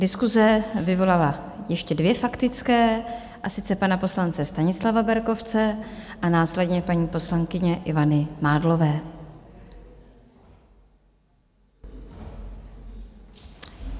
Diskuse vyvolala ještě dvě faktické, a sice pana poslance Stanislava Berkovce a následně paní poslankyně Ivany Mádlové.